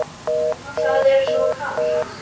Það er svo kalt.